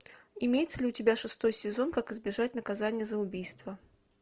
имеется ли у тебя шестой сезон как избежать наказания за убийство